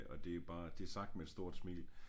Og det bare det sagt med et stort smil